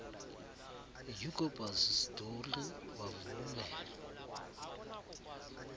ucobus dowry bavule